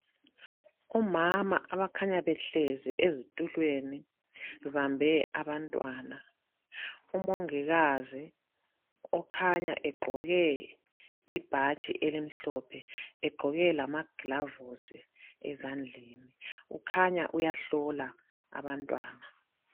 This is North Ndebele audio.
Omama abakhanya behlezi ezitulweni bebambe abantwana , umongikazi okhanya egqoke ibhatshi elimhlophe egqoke lama glavusi ezandleni kukhanya uyahlola abantwana